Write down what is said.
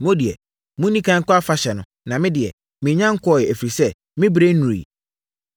Mo deɛ, monni ɛkan nkɔ afahyɛ no, na me deɛ, mennya nkɔeɛ, ɛfiri sɛ, me berɛ nnuruiɛ.”